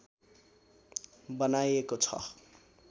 बनाएको छ